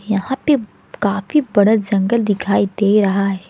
यहां पे काफी बड़ा जंगल दिखाई दे रहा है।